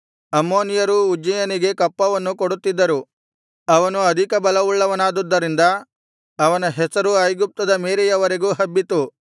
ಅಮ್ಮೋನಿಯರೂ ಉಜ್ಜೀಯನಿಗೆ ಕಪ್ಪವನ್ನು ಕೊಡುತ್ತಿದ್ದರು ಅವನು ಅಧಿಕಬಲವುಳ್ಳವನ್ನಾದುದರಿಂದ ಅವನ ಹೆಸರು ಐಗುಪ್ತದ ಮೇರೆಯವರೆಗೂ ಹಬ್ಬಿತು